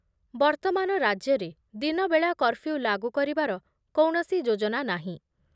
ବର୍ତ୍ତମାନ ରାଜ୍ୟରେ ଦିନବେଳା କର୍ଫ୍ୟୁ ଲାଗୁ କରିବାର କୌଣସି ଯୋଜନା ନାହିଁ ।